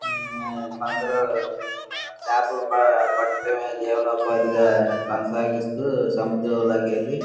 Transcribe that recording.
కొందరు చేపలు పెట్టటమే జీవనుపాదిగా కొనసాగిస్తూ సముద్రం లోకెళ్ళి --